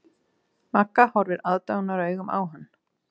Magga horfir aðdáunaraugum á hann.